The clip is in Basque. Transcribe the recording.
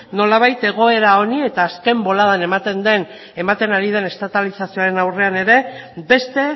nolabait egoera honi eta azken boladan ematen ari den estatalizazioaren aurrean ere beste